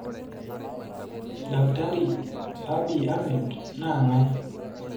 Dkt Abiy Ahmed na ngae?